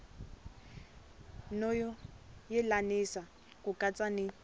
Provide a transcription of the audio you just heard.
no yelanisa ku katsa ni